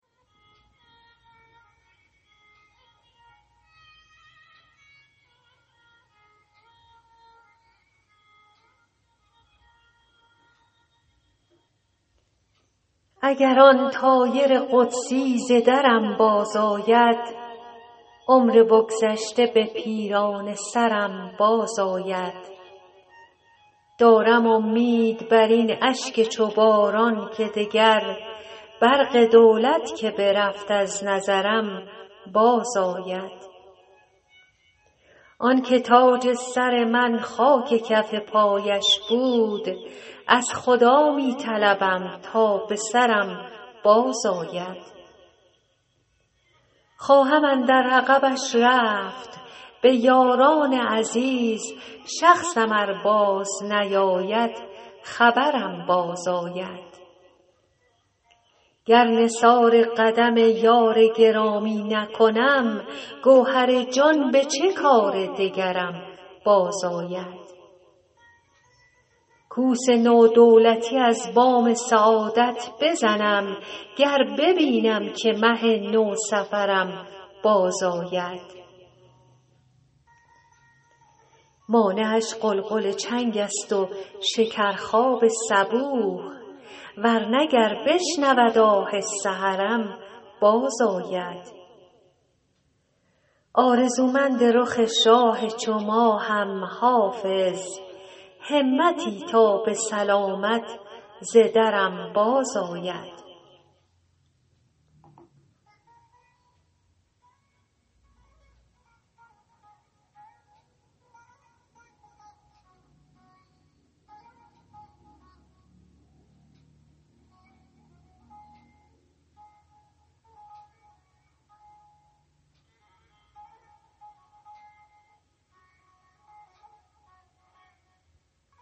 اگر آن طایر قدسی ز درم بازآید عمر بگذشته به پیرانه سرم بازآید دارم امید بر این اشک چو باران که دگر برق دولت که برفت از نظرم بازآید آن که تاج سر من خاک کف پایش بود از خدا می طلبم تا به سرم بازآید خواهم اندر عقبش رفت به یاران عزیز شخصم ار بازنیاید خبرم بازآید گر نثار قدم یار گرامی نکنم گوهر جان به چه کار دگرم بازآید کوس نو دولتی از بام سعادت بزنم گر ببینم که مه نوسفرم بازآید مانعش غلغل چنگ است و شکرخواب صبوح ور نه گر بشنود آه سحرم بازآید آرزومند رخ شاه چو ماهم حافظ همتی تا به سلامت ز درم بازآید